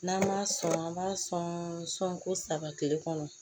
N'an m'a sɔn an b'a sɔn ko saba kile kɔnɔ